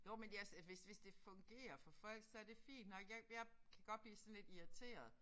Jo men jeg så hvis hvis det fungerer for folk så det fint nok jeg jeg kan godt blive sådan lidt irriteret